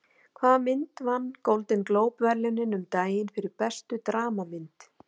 Hvaða mynd vann Golden Globe verðlaunin um daginn fyrir bestu dramamynd?